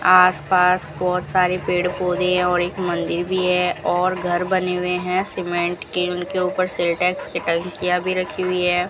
आसपास बहुत सारे पेड़ पौधे और एक मंदिर भी है और घर बने हुए हैं सीमेंट के उनके ऊपर सिंटेक्स की टंकिया भी रखी हुई है।